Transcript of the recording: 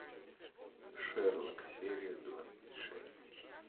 шерлок серия двадцать шесть